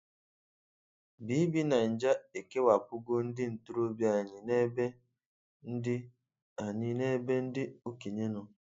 BBNaija e kewapụgo ndị ntorobịa anyị n'ebe ndị anyị n'ebe ndị okenye nọ.